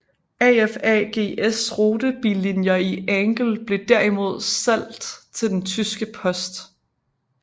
AFAGs rutebillinjer i Angel blev derimod salgt til den tyske post